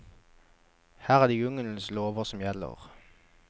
Her er det jungelens lover som gjelder.